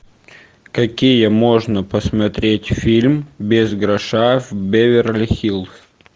какие можно посмотреть фильм без гроша в беверли хиллз